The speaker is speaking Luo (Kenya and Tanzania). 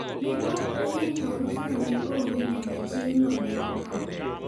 Ne ok oyie ni harus no onge nyaka chieng'no ne okalo.